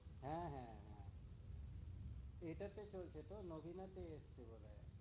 হ্যাঁ হ্যাঁ হ্যাঁ, এটাতে তোর চেতেও নবীনাতে এসছে বোধহয়।